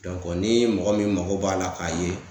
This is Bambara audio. ni mɔgɔ min mago b'a la k'a ye